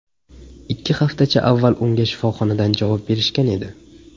Ikki haftacha avval unga shifoxonadan javob berishgan edi.